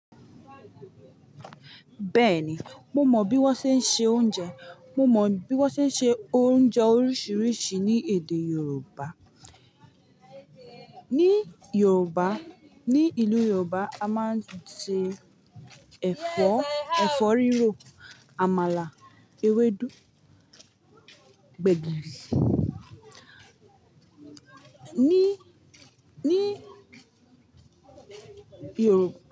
Bẹ́ẹ̀ni, mo mọ bí wọ́n ṣe ń se oúnjẹ. Mo mọ bí wọ́n ṣe ń se oúnjẹ oríṣiríṣi ní èdè Yorùbá. Ní Yorùbá, ní ìlú Yorùbá a máa ń sè ẹ̀fọ́, ẹ̀fọ́ rírò, àmàlà, ewédú, gbẹ̀gìrì. Ní, ní Yorùbá.